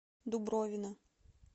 дубровина